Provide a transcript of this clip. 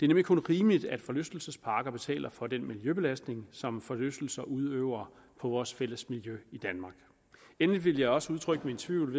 nemlig kun rimeligt at forlystelsesparker betaler for den miljøbelastning som forlystelser udøver på vores fælles miljø i danmark endelig vil jeg også udtrykke min tvivl